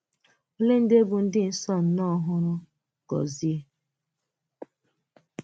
Òlè̀ ndị bụ̀ ndị nsọ nọ n’ọ́hụ́rụ́ Gozie?